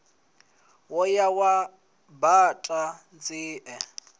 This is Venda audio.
wo ya wa baṱa nzie